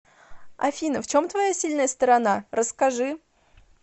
афина в чем твоя сильная сторона расскажи